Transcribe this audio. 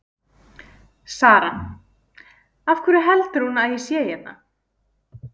Sara: Af hverju heldur hún að ég sé hérna?